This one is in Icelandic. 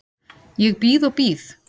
Ég bíð og bíð.